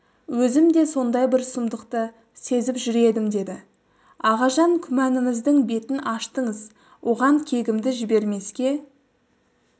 өзім де сондай бір сұмдықты сезіп жүр едім деді ағажан күмәніміздің бетін аштыңыз оған кегімді жібермеске